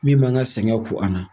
Min m'an ka sɛgɛn fo an na.